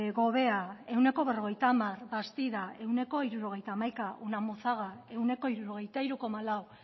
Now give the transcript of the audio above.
gobea ehuneko berrogeita hamar bastida ehuneko hirurogeita hamaika unamunzaga ehuneko hirurogeita hiru koma lau